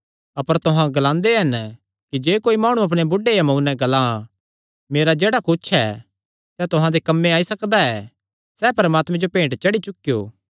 अपर तुहां ग्लांदे हन कि जे कोई माणु अपणे बुढ़े या मांऊ नैं ग्लां मेरा जेह्ड़ा कुच्छ ऐ सैह़ तुहां दे कम्म आई सकदा ऐ सैह़ परमात्मे जो भेंट चढ़ी चुकियो